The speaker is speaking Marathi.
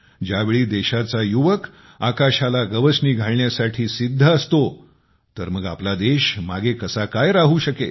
ज्यावेळी देशाचा युवक आकाशाला गवसणी घालण्यासाठी सिद्ध असतो तर मग आपला देश या कामामध्ये मागे कसा काय राहू शकेल